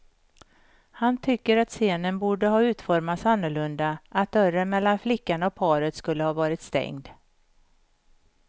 Han tycker att scenen borde ha utformats annorlunda, att dörren mellan flickan och paret skulle ha varit stängd.